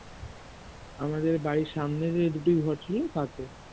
আমাদের বাড়ির সামনে যে দুটি ঘর ছিল না তাতে